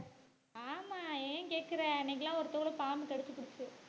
ஆமாம் ஏன் கேட்கிறேன் அன்னைக்குள எல்லாம் ஒரு தோளை பாம்பு கடிச்சுப்புடுச்சு.